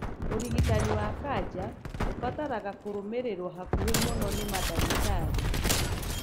ũrigitani wa kanja ubataraga kũrũmĩrĩruo hakuhĩ mũno ni mandagitarĩ.